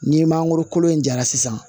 Ni mangoro kolo in jara sisan